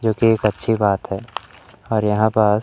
जोकि एक अच्छी बात है और यहां पास--